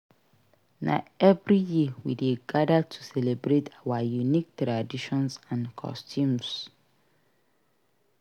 Na every year we dey gadir to celebrate our unique traditions and customs.